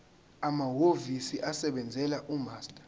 amahhovisi asebenzela umaster